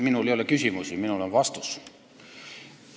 Minul ei ole küsimusi, minul on vastus.